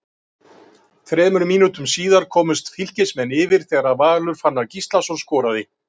Þremur mínútum síðar komust Fylkismenn yfir þegar Valur Fannar Gíslason skoraði.